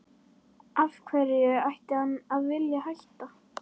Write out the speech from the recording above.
Af hverju ætti hann að vilja hætta?